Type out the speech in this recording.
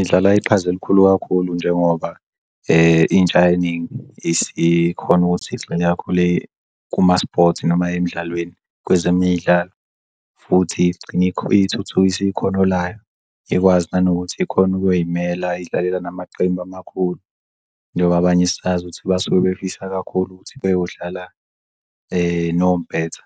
Idlala iqhaza elikhulu kakhulu njengoba intsha eningi isikhona ukuthi igxile kakhulu kuma-sport noma emidlalweni kwezemidlalo futhi igcine ithuthukise ikhono layo ikwazi nanokuthi ikhon'kuy'mela idlalela namaqembu amakhulu njengoba abanye sazi ukuthi basuke befisa kakhulu ukuthi beyodlala nompetha